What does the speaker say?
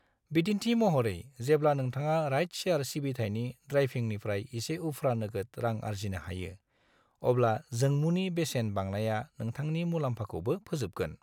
बिदिन्थि महरै, जेब्ला नोंथाङा राइड-शेयार सिबिथाइनि ड्राइभिंनिफ्राय एसे उफ्रा नोगोद रां आर्जिनो हायो, अब्ला जोंमुनि बेसेन बांनाया नोंथांनि मुलाम्फाखौबो फोजोबगोन।